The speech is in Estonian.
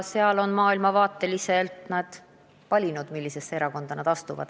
Eks nad maailmavaate põhjal on valinud, millisesse erakonda nad astuvad.